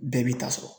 Bɛɛ b'i ta sɔrɔ